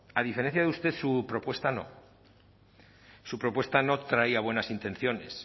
a diferencia de usted su propuesta no su propuesta no traía buenas intenciones